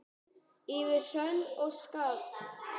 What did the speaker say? Yfir hrönn og skafl!